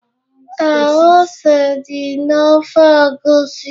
Ee, ose di na ofe egusi